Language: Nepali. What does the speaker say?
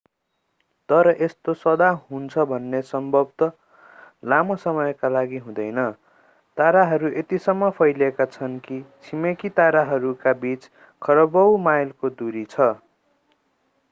तर यस्तो सदा हुन्छ भने सम्भवतः लामो समयका लागि हुँदैन ताराहरू यतिसम्म फैलिएका छन् कि छिमेकी ताराहरूका बीचमा खरबौँ माइलको दूरी छ